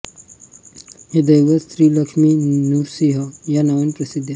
हे दैवत श्रीलक्ष्मी नृसिंह या नावाने प्रसिद्ध आहे